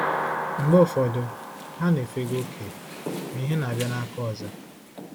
Mgbe ụfọdụ, ha na-efega oke, ma ihe na-abịa n’aka ọzọ.